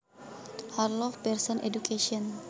Harlow Pearson Education